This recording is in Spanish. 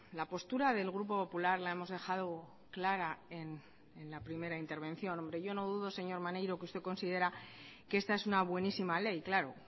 la postura del grupo popular la hemos dejado clara en la primera intervención hombre yo no dudo señor maneiro que usted considera que esta es una buenísima ley claro